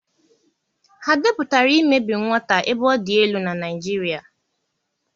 Ha depụtara imebi nwata ebe ọ dị elu na Naịjirịa?